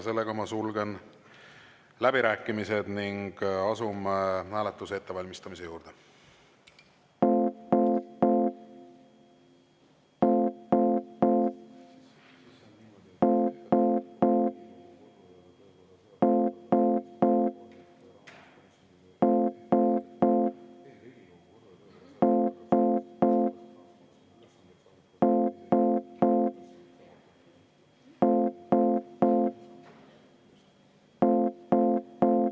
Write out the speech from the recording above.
Ma sulgen läbirääkimised ning asume hääletuse ettevalmistamise juurde.